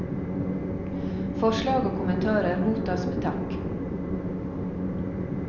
Forslag og kommentarer mottas med takk.